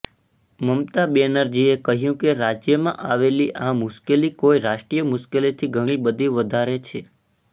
મમતા બેનર્જીએ કહ્યું કે રાજ્યમાં આવેલી આ મુશ્કેલી કોઇ રાષ્ટ્રીય મુશ્કેલીથી ઘણી બધી વધારે છે